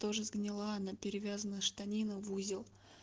тоже сгнила она перевязанная штанина в узел